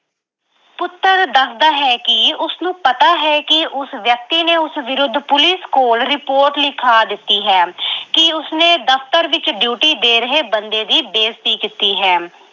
ਪੁੱਤਰ ਦੱਸਦਾ ਹੈ ਕਿ ਉਸਨੂੰ ਪਤਾ ਹੈ ਕਿ ਉਸ ਵਿਅਕਤੀ ਨੇ ਉਸ ਵਿਰੁੱਧ police ਕੋਲ report ਲਿਖਾ ਦਿੱਤੀ ਹੈ ਅਹ ਕਿ ਉਸਨੇ ਦਫਤਰ ਵਿੱਚ duty ਦੇ ਰਹੇ ਬੰਦੇ ਦੀ ਬੇਜ਼ਤੀ ਕੀਤੀ ਹੈ।